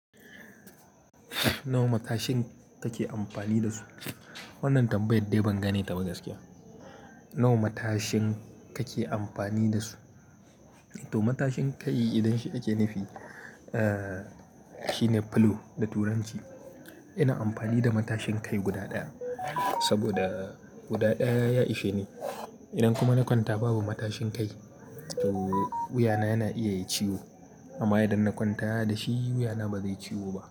Nawa matashin kake amfani da su? Wannan tambaya dai ban gane ta ba gaskiya. Nawa matashin kake amfani da su? To matashin kai idan shi ake nufi, shine pillow da turanci. Ina amfani da matashin kai guda ɗaya saboda guda ɗaya ya ishe ni. Idan kuma na kwanta babu matashin kai, to wuyana yana iya yai ciwo. Amma idan na kwanta da shi, wuyana ba zai ciwo ba.